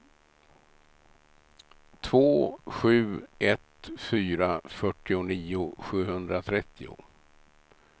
två sju ett fyra fyrtionio sjuhundratrettio